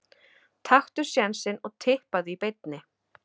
Taktu sénsinn og Tippaðu í beinni.